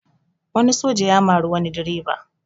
Wani soja ya mari wani direba